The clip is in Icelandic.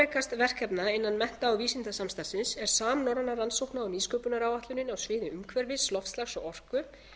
fjárfrekast verkefna innan mennta og vísindasamstarfsins er samnorræna rannsókna og nýsköpunaráætlunin á sviði umhverfis loftslags og orku